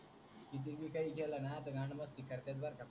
कितीबी काही केल ना गांडमस्ती करतेत बर का.